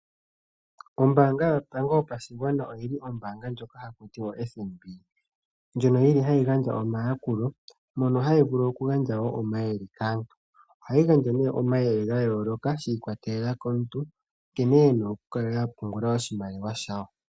Ombaanga yotango yopashigwana, ndjoka ha yi ithanwa o-FNB, oha yi gandja omayakulo yo ta yi gandja wo omayele kaantu. Oha yi gandja omayele gayooloka shi ikwatela komuntu nankene ena okukala apungula oshimaliwa she.